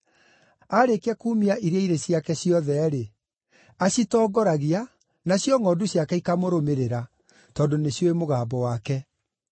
Aarĩkia kuumia iria irĩ ciake ciothe-rĩ, acitongoragia, nacio ngʼondu ciake ikamũrũmĩrĩra, tondũ nĩciũĩ mũgambo wake.